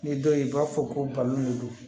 Ni dɔw ye u b'a fɔ ko balon de don